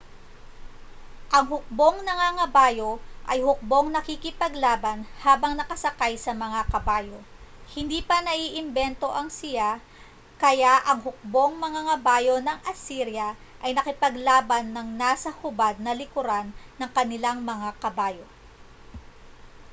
ang hukbong nangangabayo ay hukbong nakikipaglaban habang nakasakay sa mga kabayo hindi pa naiimbento ang siya kaya ang hukbong mangangabayo ng asirya ay nakipaglaban nang nasa hubad na likuran ng kanilang mga kabayo